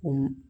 O